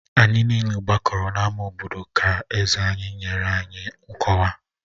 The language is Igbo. Anyị niile gbakọrọ n'ámá obodo ka eze anyị nyere anyị nkọwa